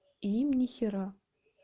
и им нихера